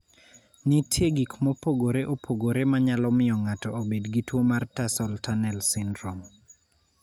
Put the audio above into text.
Nitie gik mopogore opogore ma nyalo miyo ng�ato obed gi tuo mar tarsal tunnel syndrome.